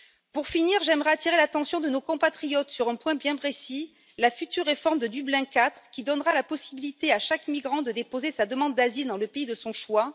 Pour finir, j'aimerais attirer l'attention de nos compatriotes sur un point bien précis, à savoir la future réforme de Dublin IV, qui donnera la possibilité à chaque migrant de déposer sa demande d'asile dans le pays de son choix.